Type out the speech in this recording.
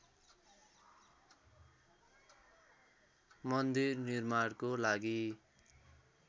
मन्दिर निर्माणको लागि